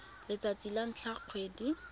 letsatsi la ntlha la kgwedi